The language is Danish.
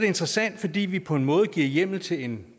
interessant fordi vi på en måde giver hjemmel til en